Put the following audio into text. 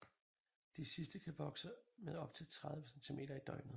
De sidste kan vokse med op til 30 centimeter i døgnet